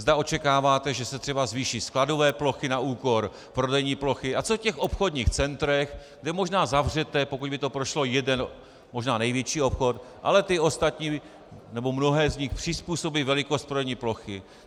Zda očekáváte, že se třeba zvýší skladové plochy na úkor prodejní plochy, a co v těch obchodních centrech, kde možná zavřete, pokud by to prošlo, jeden, možná největší obchod, ale ty ostatní nebo mnohé z nich přizpůsobí velikost prodejní plochy.